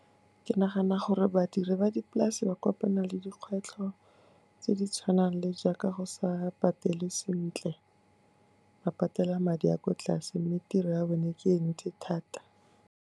Ke nagana gore badiri ba dipolase ba kopana le dikgwetlho tse di tshwanang le jaaka go sa patelwe sentle, ba patela madi a kwa tlase mme tiro ya bone ke e ntsi thata.